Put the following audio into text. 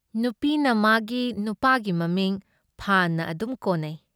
ꯅꯨꯄꯤꯅ ꯃꯥꯒꯤ ꯅꯨꯄꯥꯒꯤ ꯃꯃꯤꯡ ꯐꯥꯟꯅ ꯑꯗꯨꯝ ꯀꯣꯅꯩ ꯫